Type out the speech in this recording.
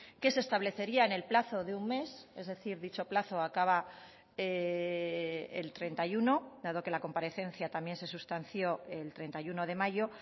que se establecería en el plazo de un mes es decir dicho plazo acaba el treinta y uno dado que la comparecencia también se sustanció el treinta y uno de mayo